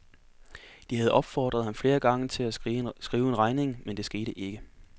De havde opfordret ham flere gange til at skrive en regning, men det skete ikke.